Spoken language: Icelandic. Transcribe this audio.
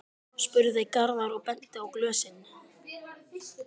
spurði Garðar og benti á glösin.